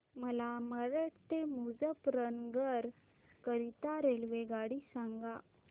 मला मेरठ ते मुजफ्फरनगर करीता रेल्वेगाडी सांगा